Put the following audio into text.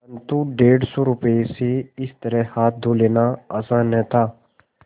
परन्तु डेढ़ सौ रुपये से इस तरह हाथ धो लेना आसान न था